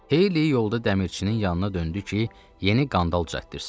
Heyli yolda dəmirçinin yanına döndü ki, yeni qandal düzəltdirsin.